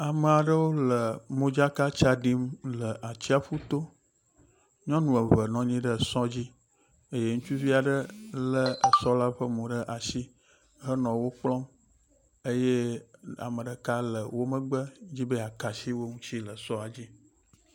Amea ɖewo le modzaka tsa ɖim le atsiaƒu to. Nyɔnu eve nɔ anyi ɖe esɔ dzi eye ŋutsuvi aɖe lé esɔ la ƒe mo ɖe asi henɔ wo kplɔm eye ame ɖeka le wo megbe, edi be yeaka asi wo ŋuti le sɔa la dzi.